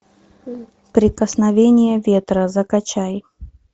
прикосновение ветра закачай